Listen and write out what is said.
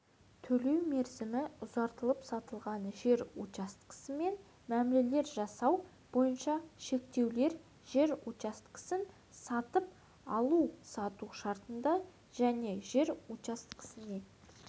төлеу мерзімі ұзартылып сатылған жер учаскесімен мәмілелер жасасу бойынша шектеулер жер учаскесін сатып алу-сату шартында және жер учаскесіне